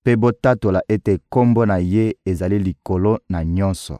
mpe botatola ete Kombo na Ye ezali likolo na nyonso.